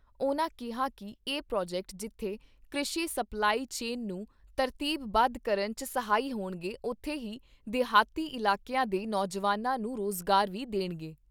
ਉਨ੍ਹਾਂ ਕਿਹਾ ਕਿ ਇਹ ਪ੍ਰੋਜੈਕਟ ਜਿੱਥੇ ਕ੍ਰਿਸ਼ੀ ਸਪਲਾਈ ਚੇਨ ਨੂੰ ਤਰਤੀਬ ਬੱਧ ਕਰਨ 'ਚ ਸਹਾਈ ਹੋਣਗੇ ਉਥੇ ਹੀ ਦੇਹਾਤੀ ਇਲਾਕਿਆਂ ਦੇ ਨੌਜਵਾਨਾਂ ਨੂੰ ਰੁਜ਼ਗਾਰ ਵੀ ਦੇਣਗੇ।